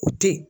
O teyi